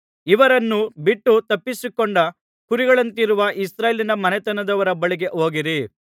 ಇವರನ್ನು ಬಿಟ್ಟು ತಪ್ಪಿಸಿಕೊಂಡ ಕುರಿಗಳಂತಿರುವ ಇಸ್ರಾಯೇಲಿನ ಮನೆತನದವರ ಬಳಿಗೆ ಹೋಗಿರಿ